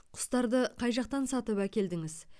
құстарды қай жақтан сатып әкелдіңіз